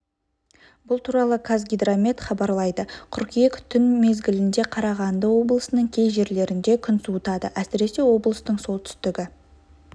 бұл туралы қазгидромет хабарлайды қыркүйек түн мезгілінде қарағанды облысының кей жерлерінде күн суытады әсіресе облыстың солтүстігі